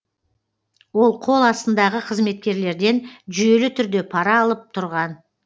ол қол астындағы қызметкерлерден жүйелі түрде пара алып тұрған